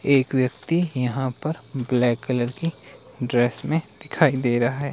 एक व्यक्ति यहां पर ब्लैक कलर की ड्रेस में दिखाई दे रहा है।